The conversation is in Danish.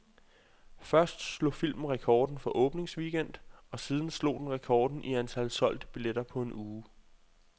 Først slog filmen rekorden for en åbningsweekend, og siden slog den rekorden i antal solgte billetter på en uge.